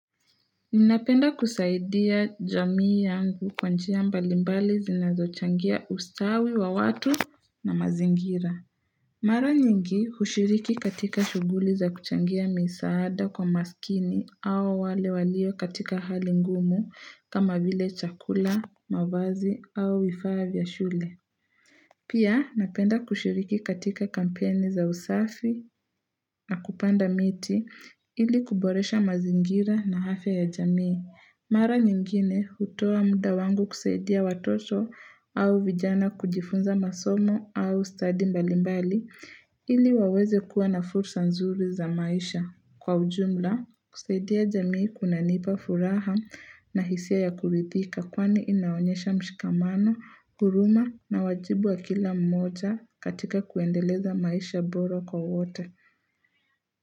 Ninapenda kusaidia jamii yangu kwa njia mbalimbali zinazochangia ustawi wa watu na mazingira Mara nyingi hushiriki katika shughuli za kuchangia misaada kwa maskini au wale walio katika hali ngumu kama vile chakula, mavazi au vifaa vya shule Pia napenda kushiriki katika kampeni za usafi na kupanda miti ili kuboresha mazingira na afya ya jamii. Mara nyingine hutoa muda wangu kusaidia watoto au vijana kujifunza masomo au study mbalimbali ili waweze kuwa na fursa nzuri za maisha. Kwa ujumla, kusaidia jamii kunanipa furaha na hisia ya kulidhika kwani inaonyesha mshikamano, huruma na wajibu wa kila mmoja katika kuendeleza maisha boro kwa wote.